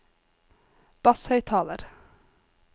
basshøyttaler